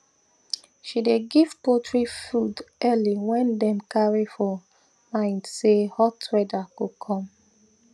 she dey give poultry food early when dem carry for mind say hot weather go come